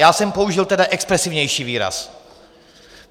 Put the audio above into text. Já jsem použil tedy expresivnější výraz.